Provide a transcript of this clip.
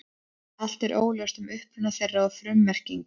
Allt er óljóst um uppruna þeirra og frummerkingu.